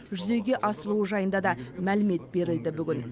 жүзеге асырылуы жайында да мәлімет берілді бүгін